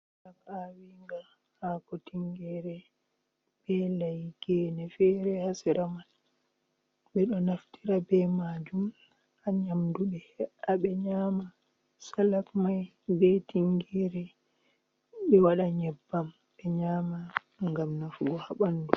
Salaf aawinga ,haako tinngere, be layi, geene feere haa sera man. Ɓe ɗo naftira be maajum haa nyamdu ɓe ɗo he''a nyama salaf may be tinngere, ɓe waɗa nyebbam, ɓe nyaama ngam nafugo haa ɓanndu.